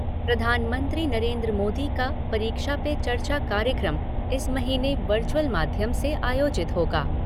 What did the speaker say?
प्रधानमंत्री नरेंद्र मोदी का परीक्षा पे चर्चा कार्यक्रम इस महीने वर्चुअल माध्यम से आयोजित होगा।